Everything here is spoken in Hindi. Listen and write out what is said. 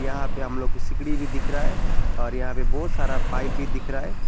यहां पे हम लोग को सिकड़ी भी दिख रहा है। और यहां पे बहोत सारा पाइप भी दिख रहा है।